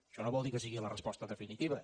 això no vol dir que sigui la resposta definitiva